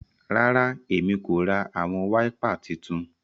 Rara, Èmí ko rá awọn waipà títún